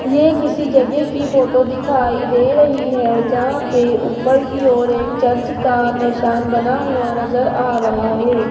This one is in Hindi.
ये किसी जगह की फोटो दिखाई दे रही है जहां पे ऊपर की ओर एक चर्च का निशान बना हुआ नजर आ रहा है।